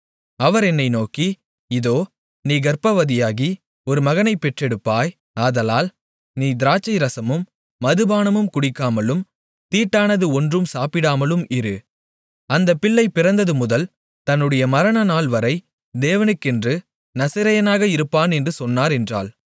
அவர் என்னை நோக்கி இதோ நீ கர்ப்பவதியாகி ஒரு மகனைப் பெற்றெடுப்பாய் ஆதலால் நீ திராட்சை ரசமும் மதுபானமும் குடிக்காமலும் தீட்டானது ஒன்றும் சாப்பிடாமலும் இரு அந்தப் பிள்ளை பிறந்தது முதல் தன்னுடைய மரணநாள்வரை தேவனுக்கென்று நசரேயனாக இருப்பான் என்று சொன்னார் என்றாள்